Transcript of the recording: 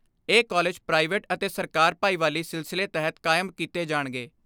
ਇਹ college private ਅਤੇ ਸਰਕਾਰ ਭਾਈਵਾਲੀ ਸਿਲਸਿਲੇ ਤਹਿਤ ਕਾਇਮ ਕੀਤੇ ਜਾਣਗੇ।